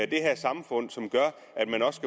det her samfund som gør at man også